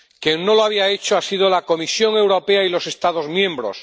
Quien no lo había hecho han sido la Comisión Europea y los Estados miembros.